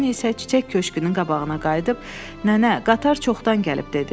Poni isə çiçək köşkünün qabağına qayıdıb, Nənə, qatar çoxdan gəlib dedi.